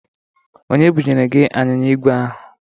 Onye bụnyere gị anyịnya ígwè ahụ?